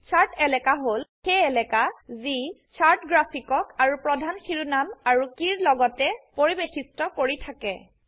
shirt এলাকা হল সেই এলাকা যি চাৰ্ট গ্ৰাফিকক আৰু প্ৰধান শিৰোনাম আৰু কীৰ লগতে পৰিবেষ্ঠিত কৰি থাকে